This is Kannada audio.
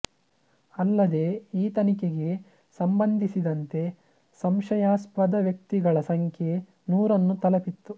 ಅಲ್ಲದೇ ಈ ತನಿಖೆಗೆ ಸಂಬಂಧಿಸಿದಂತೆ ಸಂಶಯಾಸ್ಪದ ವ್ಯಕ್ತಿಗಳ ಸಂಖ್ಯೆ ನೂರನ್ನು ತಲುಪಿತ್ತು